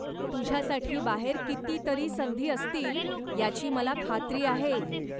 तुझ्यासाठी बाहेर कितीतरी संधी असतील याची मला खात्री आहे.